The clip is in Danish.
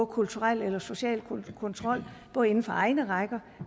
kulturel eller social kontrol både inden for egne rækker